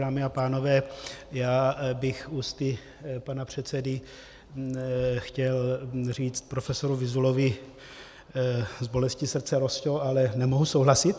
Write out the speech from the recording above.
Dámy a pánové, já bych ústy pana předsedy chtěl říct profesoru Vyzulovi: S bolestí srdce, Rosťo, ale nemohu souhlasit.